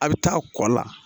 A bɛ taa kɔ la